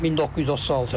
1936.